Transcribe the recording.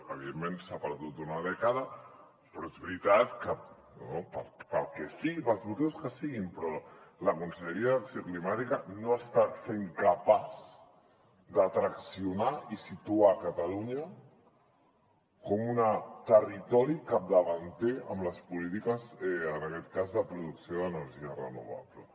evidentment s’ha perdut una dècada però és veritat que pel que sigui pels motius que siguin la conselleria d’acció climàtica no està sent capaç de traccionar i situar catalunya com un territori capdavanter en les polítiques en aquest cas de producció d’energies renovables